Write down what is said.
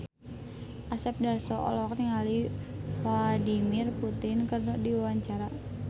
Asep Darso olohok ningali Vladimir Putin keur diwawancara